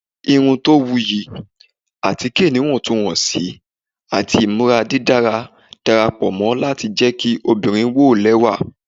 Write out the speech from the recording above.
irun to wuyi, atike iwọntunwọnsi ati imura didara darapọ lati jẹ ki obinrin wo lẹwa